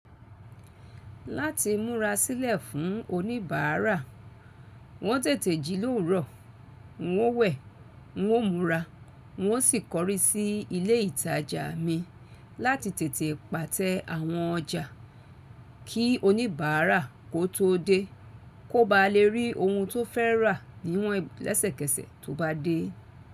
Láti múra sílẹ̀ fún oníbàárà, n ó tètè ji lórùwọ́ọ̀, n ó wẹ̀, n ó múra, n ó sì kọrí sí ilé ìtajà mi láti tètè pàtẹ àwọn ọjà kí oníbàárà kó tó dé, kó ba lè rí ohun tó fẹ́ rà níwọ́n lẹ́sẹ̀kẹsẹ̀ tó bá dé.